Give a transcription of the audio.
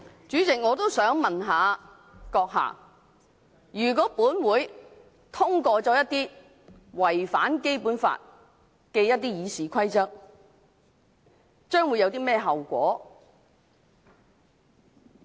主席，我也想問你閣下，如果立法會通過了一些違反《基本法》的《議事規則》議案，將會有甚麼後果？